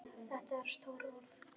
Þetta eru stór orð.